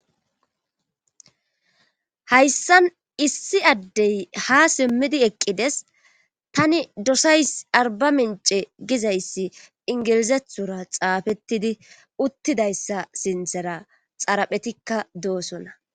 Hayssan issi addey ha simmidi eqqides tani dosays arba mince gizayssi ingilizethura xaafettidi uttidayssa sinthera xaraphetikka doosona.